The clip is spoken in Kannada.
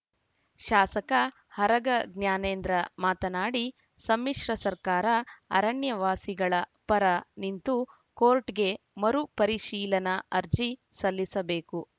ಶಾಸಕ ಆರಗ ಜ್ಞಾನೇಂದ್ರ ಮಾತನಾಡಿ ಸಮ್ಮಿಶ್ರ ಸರ್ಕಾರ ಅರಣ್ಯ ವಾಸಿಗಳ ಪರ ನಿಂತು ಕೋರ್ಟ್‌ಗೆ ಮರು ಪರಿಶೀಲನಾ ಅರ್ಜಿ ಸಲ್ಲಿಸಬೇಕು